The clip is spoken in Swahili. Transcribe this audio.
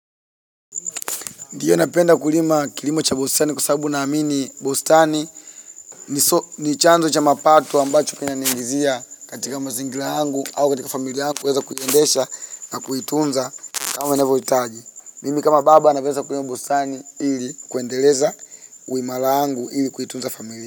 Ndiyo napenda kulima kilimo cha Bostani kwa sababu naamini bostani ni ni chanzo cha mapato ambacho kinaniingizia katika mazingira yangu au katika familia yangu ili yaweze kuyendesha na kuitunza kama inavyohitaji. Mimi kama baba anavyoeza kulima Bostani ili kuendeleza uimara yangu ili kuitunza familia.